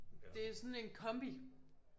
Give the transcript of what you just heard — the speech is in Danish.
Det sådan en kombi